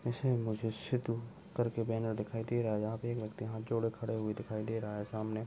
इसें मुझे सिद्धू करके बैनर दिखाई दे रहा हैं यहा पे एक व्यक्ति हाँथ जोड़े खड़े हुए दिखाई दे रहा है। सामने --